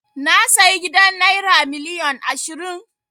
Na sayi gidan naira miliyon ashirin.